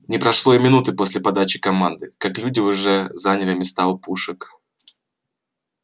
не прошло и минуты после подачи команды как люди уже заняли места у пушек